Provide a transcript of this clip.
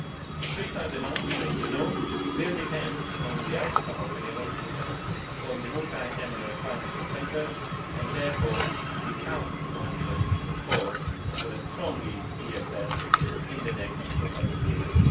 The precise amounts, as you know, will depend on the outcome of the negotiations on the Multiannual Financial Framework, and therefore we count on your support for a strong ESF in the next programming period.